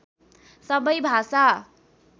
सबै भाषा